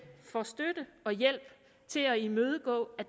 for støtte og hjælp til at imødegå at